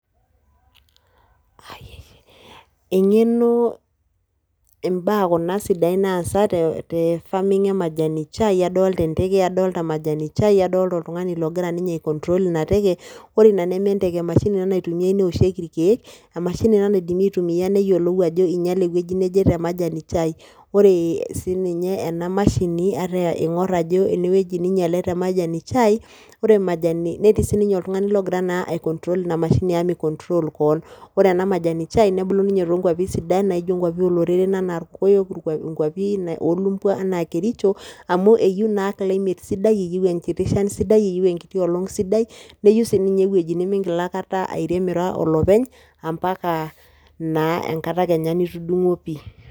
Eng'enoo , imbaa kuna sidain naasa tefaming emajani chai , adolita enteke adolta majani  chai adolita oltung'ani logira ninye aikontrol ina teke. Ore ina nementeke, emashini ina naitumiai neoshoki irkeek , emashini ina naidimi aitumia neyolou ajo einyale ewueji neje temajani  chai. Ore siininye ena mashini ataa eing'orr ajo enewueji neinyale temajani  chai , ore majani, netii sininye oltung'ani logira naa aikontrol ina mashini amu meikontrol koon. Ore enamajani chai nebulu ninye toonkuapi sidain naaijo inkuapi ooloreren anaa ilkoyok, inkuapi oolumbwa anaa kericho amu eyou naa climate sidai eyou enkiti shan sidai, eyou enkiti olong' sidai neyou siininye ewueji nimingil aaikata airem ira olopeny ampaka naa kenya enkata nitudung'o pii.